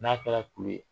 N'a kɛra kulu ye